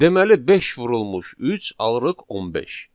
Deməli 5 vurulmuş 3 alırıq 15.